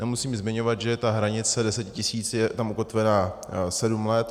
Nemusím zmiňovat, že ta hranice 10 000 je tam ukotvena sedm let.